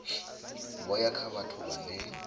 vho ya kha vhathu vhane